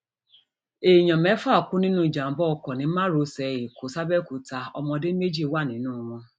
èèyàn mẹfà kú nínú ìjàmbá ọkọ ni márosẹ ẹkọ sàbéòkúta ọmọdé méjì wà nínú wọn